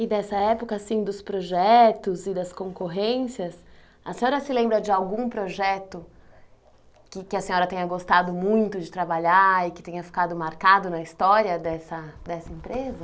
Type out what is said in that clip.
E dessa época, assim, dos projetos e das concorrências, a senhora se lembra de algum projeto que que a senhora tenha gostado muito de trabalhar e que tenha ficado marcado na história dessa dessa empresa?